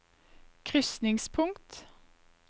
krysningspunkt